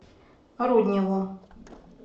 рудневу